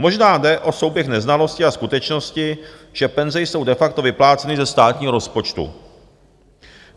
Možná jde o souběh neznalosti a skutečnosti, že penze jsou de facto vypláceny ze státního rozpočtu.